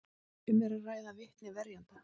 Um er að ræða vitni verjenda